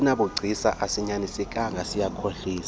asinabugcisa asinyanisekanga siyakhohlisa